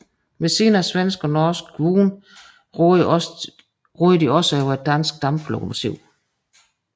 Ved siden af svenske og norske vogne råder de også over et dansk damplokomotiv